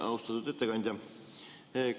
Austatud ettekandja!